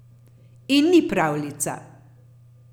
In ni pravljica.